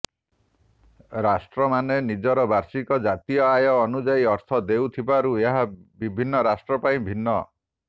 ରାଷ୍ଟ୍ରମାନେ ନିଜର ବାର୍ଷିକ ଜାତୀୟ ଆୟ ଅନୁଯାୟୀ ଅର୍ଥ ଦେଉଥିବାରୁ ଏହା ବିଭିନ୍ନ ରାଷ୍ଟ୍ର ପାଇଁ ଭିନ୍ନ